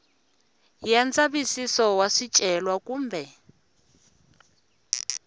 ya ndzavisiso wa swicelwa kumbe